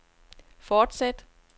fortsæt